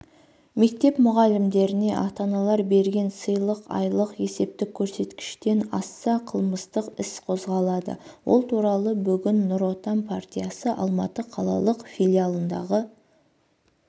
мектеп мұғалімдеріне ата-аналар берген сыйлық айлық есептік көрсеткіштен асса қылмыстық іс қозғалады ол туралы бүгін нұр отан партиясы алматы қалалық филиалындағы